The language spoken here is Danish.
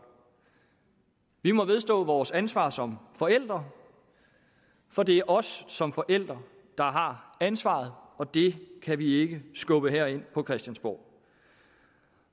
vi må vedstå vores ansvar som forældre for det os som forældre der har ansvaret og det kan vi ikke skubbe herind på christiansborg